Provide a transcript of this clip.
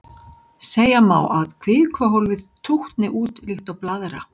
Segja má að kvikuhólfið tútni út líkt og blaðra.